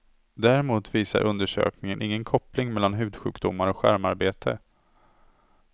Däremot visar undersökningen ingen koppling mellan hudsjukdomar och skärmarbete.